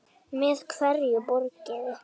Með hverju borgiði?